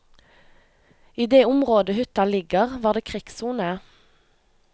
I det området hytta ligger, var det krigssone.